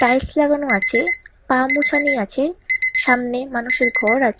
tiles লাগানো আছে পা মোছানি আছে সামনে মানুষের ঘর আছ--